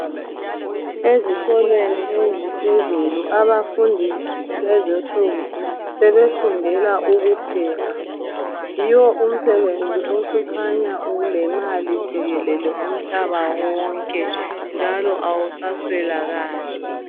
Ezikolweni eziphezulu abafundi lezinsuku sebefundela ukupheka. Yiwo umsebenzi osukhanya ulemali jikelele umhlaba wonke njalo awusaswelakali.